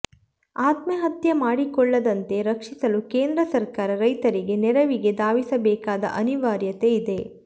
ಆತ್ಮಹತ್ಯೆ ಮಾಡಿಕೊಳ್ಳದಂತೆ ರಕ್ಷಿಸಲು ಕೇಂದ್ರ ಸರ್ಕಾರ ರೈತರಿಗೆ ನೆರವಿಗೆ ಧಾವಿಸಬೇಕಾದ ಅನಿವಾರ್ಯತೆ ಇದೆ